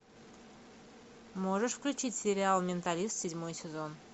можешь включить сериал менталист седьмой сезон